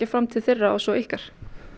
fram til þeirra og svo ykkar